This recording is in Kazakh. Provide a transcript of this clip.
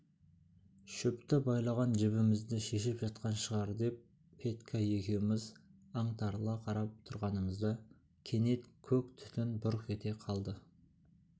шөпті байлаған жібімізді шешіп жатқан шығар деп петька екеуміз аңтарыла қарап тұрғанымызда кенет көк түтін бұрқ ете қалды